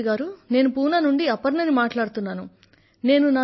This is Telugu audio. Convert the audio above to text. ప్రధానమంత్రి గారూ నేను పూనా నుండి అపర్ణ ని మాట్లాడుతున్నాను